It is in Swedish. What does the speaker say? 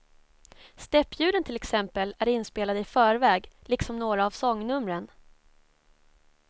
Steppljuden till exempel är inspelade i förväg, liksom några av sångnumren.